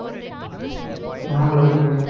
அவங்கள வச்சு